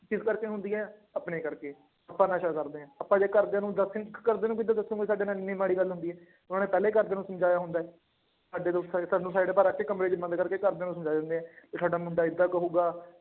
ਕਿਸ ਕਰਕੇ ਹੁੰਦੀ ਹੈ ਆਪਣੇ ਕਰਕੇ, ਆਪਾਂ ਨਸ਼ਾ ਕਰਦੇ ਹਾਂ, ਆਪਾਂ ਜੇ ਘਰਦਿਆਂ ਨੂੰ ਦੱਸ ਨੀ, ਘਰਦਿਆਂ ਨੂੰ ਕਿੱਦਾਂ ਦੱਸੋਂਗੇ, ਤੁਹਾਡੇ ਨਾਲ ਇੰਨੀ ਮਾੜੀ ਗੱਲ ਹੁੰਦੀ ਹੈ, ਉਹਨਾਂ ਨੇ ਪਹਿਲਾਂ ਹੀ ਘਰਦਿਆਂ ਨੂੰ ਸਮਝਾਇਆ ਹੁੰਦਾ ਹੈ, ਤੁਹਾਨੂੰ side ਪਰ ਰੱਖ ਕੇ ਕਮਰੇ ਚ ਬੰਦ ਕਰਕੇ ਘਰਦਿਆਂ ਨੂੰ ਸਮਝਾ ਦਿੰਦੇ ਹੈ, ਕਿ ਸਾਡਾ ਮੁੰਡਾ ਏਦਾਂ ਕਹੇਗਾ।